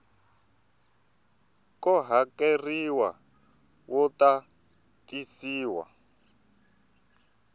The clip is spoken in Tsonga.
ko hakeleriwa wu ta tisiwa